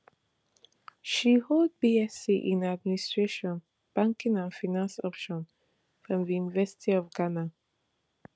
she hold bsc in administration banking and finance option from di university of ghana